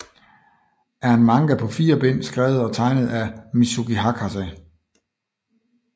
er en manga på fire bind skrevet og tegnet af Mizuki Hakase